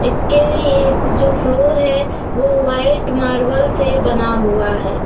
इसके ये जो फ्लोर है वो वाइट मार्बल से बना हुआ है।